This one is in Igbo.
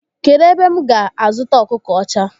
Kedụ ebe m ga a zụta ọkụkọ ọcha?